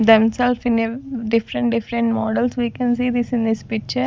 themselves in a different different models we can see this in this picture.